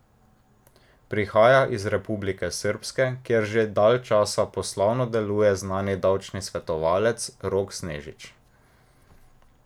Prihaja iz Republike Srpske, kjer že dalj časa poslovno deluje znani davčni svetovalec Rok Snežić.